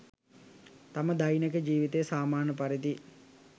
තම දෛනික ජීවිතය සාමාන්‍ය පරිදි